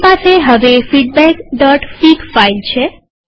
આપણી પાસે હવે ફીડબેકફીગ ફાઈલ છે